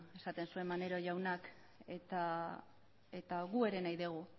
esaten zuen maneiro jaunak eta guk ere nahi dugu